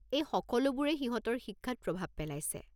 এইসকলোবোৰে সিহঁতৰ শিক্ষাত প্ৰভাৱ পেলাইছে।